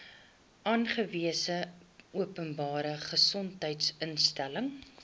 aangewese openbare gesondheidsinstelling